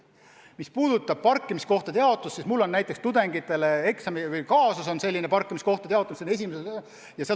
Mis puudutab parkimiskohtade jaotust, siis mul on tudengitele selline eksamikaasus, mis käsitleb parkimiskohtade jaotamist.